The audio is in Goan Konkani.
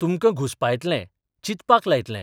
तुमकां घुस्पायतलें चिंतपाक लायतलें.